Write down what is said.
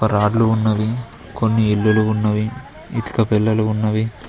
Rod లు ఉన్నవి కొన్ని ఇల్లులు ఉన్నవి ఇటుక పెల్లలు ఉన్నవి.